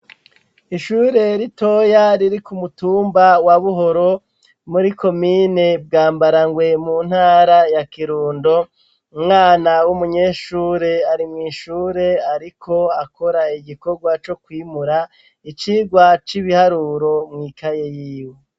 Ishure ritoya riri ku mutumba wa buhoro muri komine Bwambarangwe mu ntara ya Kirundo umwana w'umunyeshure ari mw'ishure ariko akora igikorwa co kwimura icigwa c'ibiharuro mw'ikaye yiwe.